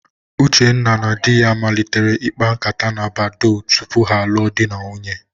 Uchenna na di ya malitere ịkpa ǹkátá na Badoo tupu ha alụọ di na nwunye.